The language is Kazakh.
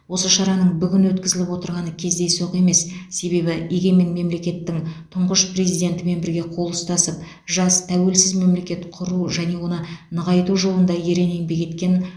осы шараның бүгін өткізіліп отырғаны кездейсоқ емес себебі егемен мемлекеттің тұңғыш президентімен бірге қол ұстасып жас тәуелсіз мемлекет құру және оны нығайту жолында ерең еңбек еткен